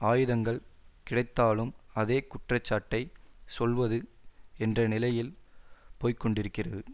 ஆயுதங்கள் கிடைத்தாலும் அதே குற்றச்சாட்டை சொல்வது என்ற நிலையில் போய் கொண்டிருக்கிறது